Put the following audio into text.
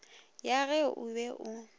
ya ge o be o